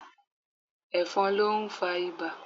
Ẹ̀fọ̀n ló ń fa ibà.